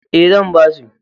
E, zan ba su.